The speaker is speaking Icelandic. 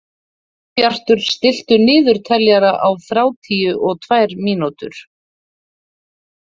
Sólbjartur, stilltu niðurteljara á þrjátíu og tvær mínútur.